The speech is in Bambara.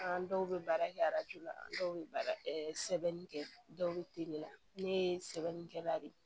An dɔw bɛ baara kɛ la an dɔw bɛ baara sɛbɛnni kɛ dɔw bɛ teliya ne ye sɛbɛnnikɛlan de ye